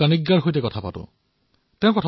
হয় মহোদয়